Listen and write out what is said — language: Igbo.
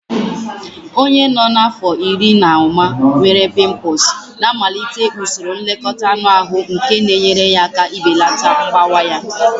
Onye nọ n'afọ iri na ụma nwere pimples na-amalite usoro nlekọta anụ ahụ nke na-enyere aka ibelata mgbawa ya